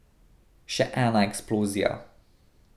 Še ena eksplozija.